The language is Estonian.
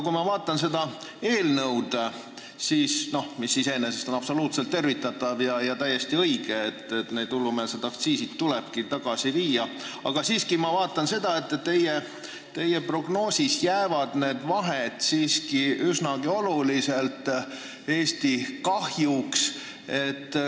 Iseenesest on see eelnõu absoluutselt tervitatav ja täiesti õige – need hullumeelsed aktsiisid tulebki tagasi viia –, aga ma siiski näen, et teie prognoosi järgi jäävad vahed üsna oluliselt Eesti kahjuks.